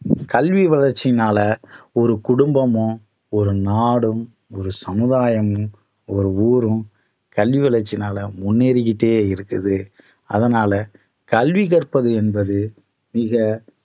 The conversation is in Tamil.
கல்வி வளர்ச்சியினால ஒரு குடும்பமும் ஒரு நாடும் ஒரு சமுதாயம் ஒரு ஊரும் கல்வி வளர்ச்சியினால முன்னேறிகிட்டே இருக்குது அதனால கல்வி கற்பது என்பது மிக